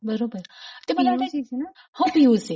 बरोबर हो P U C च न? हो पी यु सी.